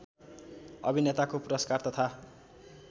अभिनेताको पुरस्कार तथा